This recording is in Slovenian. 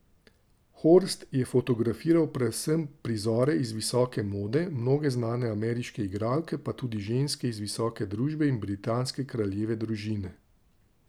Horst je fotografiral predvsem prizore iz visoke mode, mnoge znane ameriške igralke pa tudi ženske iz visoke družbe in britanske kraljeve družine.